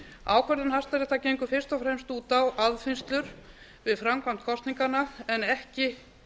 ákvörðun hæstaréttar gengur fyrst og fremst út á aðfinnslur við framkvæmd kosninganna en ekki